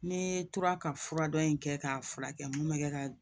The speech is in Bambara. Ne tora ka fura dɔ in kɛ k'a furakɛ mun bɛ kɛ ka